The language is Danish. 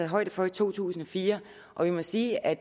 højde for i to tusind og fire og vi må sige at